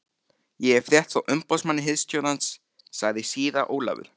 Ég hef fréttir frá umboðsmanni hirðstjórans, sagði síra Ólafur.